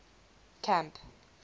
camp